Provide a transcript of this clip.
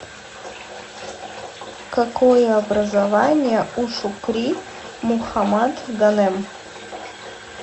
какое образование у шукри мухаммад ганем